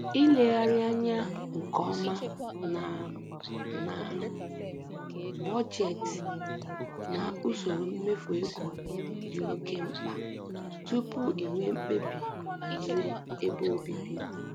Ilegharị anya nke ọma na na bọjetị na usoro mmefu ego dị oke mkpa tupu i nwee mkpebi banyere ebe obibi